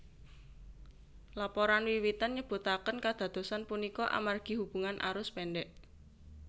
Laporan wiwitan nyebutaken kadadosan punika amargi hubungan arus pendek